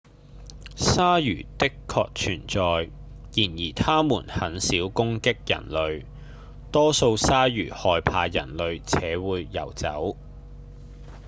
鯊魚的確存在然而牠們很少攻擊人類多數鯊魚害怕人類且會游走